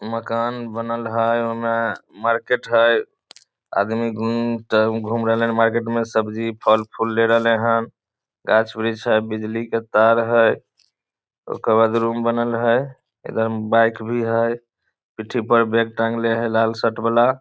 मकान बनल हेय ओय मे मार्केट हेय आदमी घूम रहले हेन मार्केट मे सब्जी फल फूल ले रहले हेय टाइल्स वृक्ष हेय बिजली के तार हेय ओकर बाद रूम बनल हेय